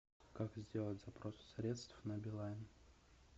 как сделать запрос средств на билайн